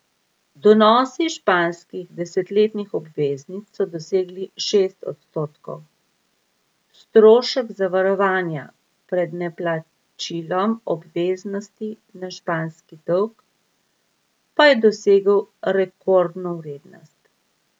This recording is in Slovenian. Donosi španskih desetletnih obveznic so dosegli šest odstotkov, strošek zavarovanja pred neplačilom obveznosti na španski dolg pa je dosegel rekordno vrednost.